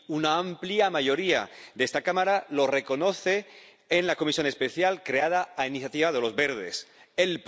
Una amplia mayoría de esta Cámara lo reconoce en la comisión especial creada a iniciativa del Grupo Verts ALE.